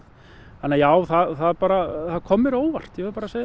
þannig að já það kom mér á óvart ég verð bara að segja